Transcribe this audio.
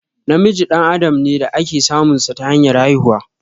Namiji dan adam ne da ake samun sa ta hanyar haihuwa